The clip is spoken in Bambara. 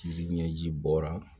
Jiri ɲɛji bɔra